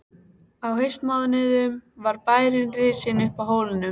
Á haustmánuðum var bærinn risinn uppi á hólnum.